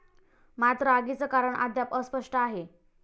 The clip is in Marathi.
मात्र आगीचं कारण अद्याप अस्पष्ट आहे.